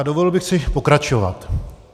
A dovolil bych si pokračovat.